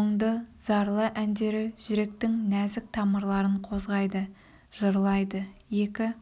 мұңды зарлы әндері жүректің нәзік тамырларын қозғайды жырлайды екі